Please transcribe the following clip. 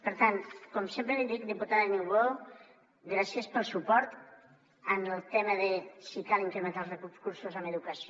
per tant com sempre li dic diputada niubó gràcies pel suport en el tema de si cal incrementar els recursos en educació